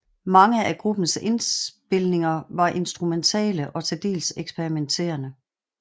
Mange af gruppens indspilninger var instrumentale og til dels eksperimenterende